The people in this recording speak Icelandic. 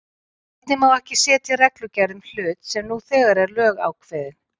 Einnig má ekki setja reglugerð um hlut sem nú þegar er lögákveðinn.